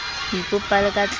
ho ipopa le ka tlasa